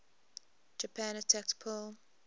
japan attacked pearl